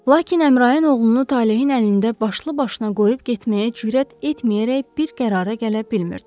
Lakin Əmraan oğlunu talehin əlində başlı-başına qoyub getməyə cürət etməyərək bir qərara gələ bilmirdi.